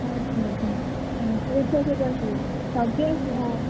ଆଛା ଆଛା ପୁଅ ଛୁଆ ସବୁ ଆସିବେ? ସବ୍ୟ ଆସିବ? ।